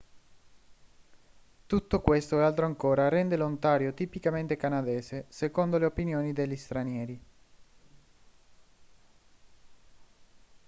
tutto questo e altro ancora rende l'ontario tipicamente canadese secondo le opinioni degli stranieri